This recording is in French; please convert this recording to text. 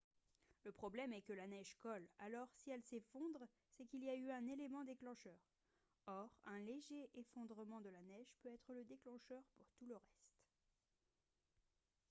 le problème est que la neige colle alors si elle s'effondre c'est qu'il y a eu un élément déclencheur or un léger effondrement de la neige peut être le déclencheur pour tout le reste